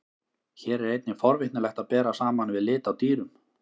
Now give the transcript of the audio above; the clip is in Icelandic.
Hér er einnig forvitnilegt að bera saman við lit á dýrum.